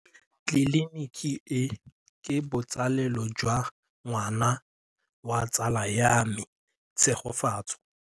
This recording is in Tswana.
Tleliniki e, ke botsalêlô jwa ngwana wa tsala ya me Tshegofatso.